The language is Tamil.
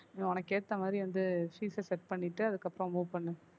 நீ உனக்கு ஏத்த மாதிரி வந்து fees அ set பண்ணிட்டு அதுக்கப்புறம் move பண்ணு